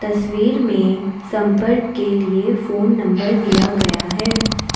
तस्वीर में संपर्क के लिए फोन नंबर दिया गया है।